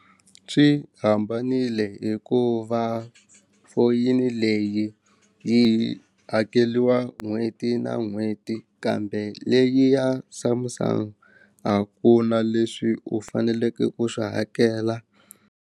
Swi hambanile hikuva foyini leyi yi hakeliwa n'hweti na n'hweti kambe leyi ya Samsung a ku na leswi u faneleke ku swi hakela.